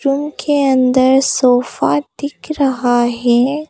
Room के अन्दर sofa दिख रहा हैं।